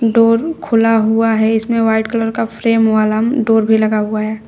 Door खुला हुआ है इसमें वाइट कलर का फ्रेम वाला डोर भी लगा हुआ है।